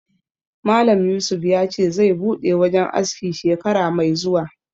Malam Yusuf ya ce zai buɗe wajen aski shekara mai zuwa